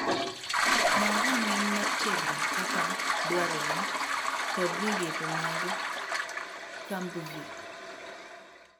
Ng'aw rang'iny mar tiegruok kaka dwarre kod migepe mag kambvi.